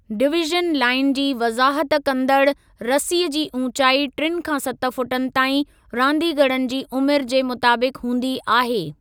Division line जी वज़ाहत कंदड़ु रसीअ जी ऊचाई टिनि खां सत फुटनि ताईं रांदीगरनि जी उमिरि जे मुताबिक़ हूंदी आहे।